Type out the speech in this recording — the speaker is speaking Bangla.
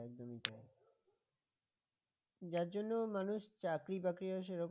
যার জন্য মানুষ চাকরিবাকরিও সেরকম